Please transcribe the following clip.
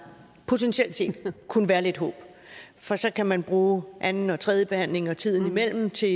potentielt set kunne være lidt håb for så kan man bruge anden og tredje behandling og tiden imellem til